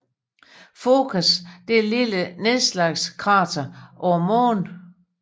Focas er et lille nedslagskrater på Månen